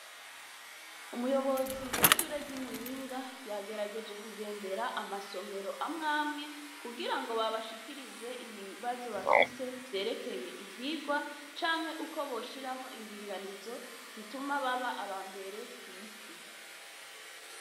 Umuyobozi w’ishure ry’iMuyinga yagerageje kugendera amasomero amw’amwe kugirango babashikirize ibibazo bafise vyerekeye ivyigwa ,canke uko boshiraho indinganizo zituma baba abambere kw’isi.